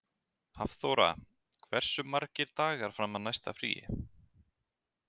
Hafþóra, hversu margir dagar fram að næsta fríi?